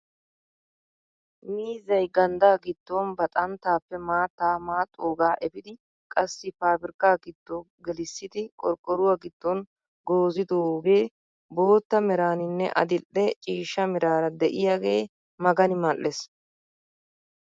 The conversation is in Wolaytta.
Miizzay ganddaa giddon ba xanttaappe maattaa maaxxoogaa efiidi qassi pabirkkaa giddo gelissidi qorqqoruwaa giddon goozzidoogee bootta meraninne adil'e ciishsha meraara de'iyaagee magani mal"ees!